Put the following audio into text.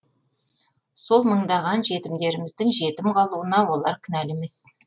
сол мыңдаған жетімдеріміздің жетім қалуына олар кінәлі емес